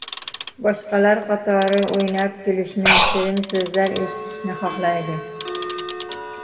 Boshqalar qatori o‘ynab kulishni, shirin so‘zlar eshitishni xohlaydi.